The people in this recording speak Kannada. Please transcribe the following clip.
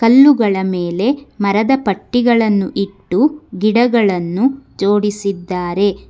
ಕಲ್ಲುಗಳ ಮೇಲೆ ಮರದ ಪಟ್ಟಿಗಳನ್ನು ಇಟ್ಟು ಗಿಡಗಳನ್ನು ಜೋಡಿಸಿದ್ದಾರೆ.